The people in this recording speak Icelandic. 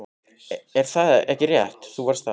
Er það ekki rétt að þú varst þar?